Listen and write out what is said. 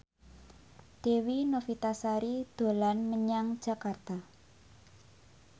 Dewi Novitasari dolan menyang Jakarta